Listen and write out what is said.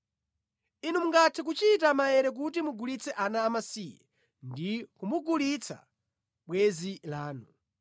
Inu mungathe kuchita maere kuti mugulitse ana amasiye ndi kumugulitsa bwenzi lanu.